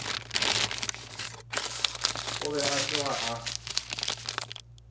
o be a tloga a